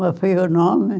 Qual foi o nome?